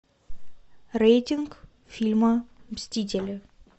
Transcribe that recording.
рейтинг фильма мстители